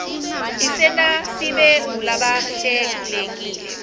isenta sibe ngulabahlelekile